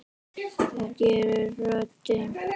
Það gerir röddin.